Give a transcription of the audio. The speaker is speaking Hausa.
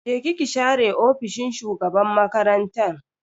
Je ki ki share ofishin shugaban makarantan.